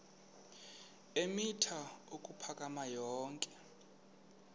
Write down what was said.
eemitha ukuphakama yonke